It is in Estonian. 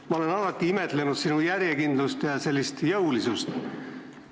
Ma olen alati imetlenud sinu järjekindlust ja sellist jõulisust.